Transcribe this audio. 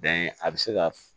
Bɛn a bɛ se ka